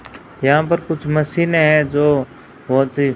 यहां पर कुछ मशीने है जो बहोत ही--